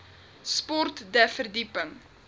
sport de verdieping